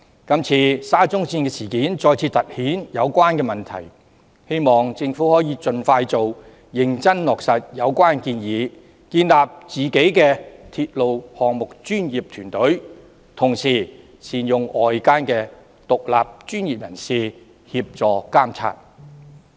這次沙中線事件再次突顯有關問題，希望政府盡快認真落實有關建議，建立鐵路項目專業團隊，同時善用外間的獨立專業人士協助監察。